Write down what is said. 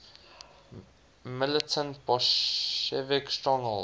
militant bolshevik stronghold